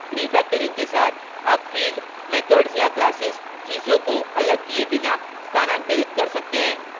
refactoring के साथ आप fields methods या classes चीजों को अलग किये बिना स्थानांतरित कर सकते हैं